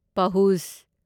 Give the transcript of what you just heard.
ꯄꯍꯨꯖ